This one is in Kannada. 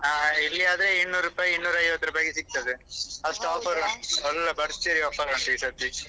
ಆ ಇಲ್ಲಿ ಆದ್ರೆ ಇನ್ನೂರೂಪಾಯಿ ಇನ್ನೂರೈವತ್ತು ರೂಪಾಯಿಗೆ ಸಿಕ್ತದೆ ಅಷ್ಟು ಉಂಟು ಒಳ್ಳೆ ಭರ್ಜರಿ offer ಈ ಸರ್ತಿ.